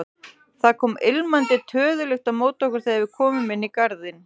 Það kom ilmandi töðulykt á móti okkur þegar við komum inn í garðinn.